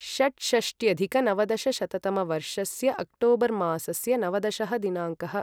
षट्षष्ट्यधिकनवदशशततमवर्षस्य October मासस्य नवदशः दिनाङ्कः